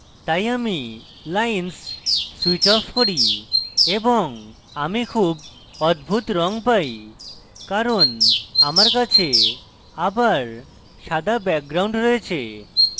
তাই আমি lines switch off করি এবং আমি খুব অদ্ভুত রঙ পাই কারণ আমার কাছে আবার সাদা background রয়েছে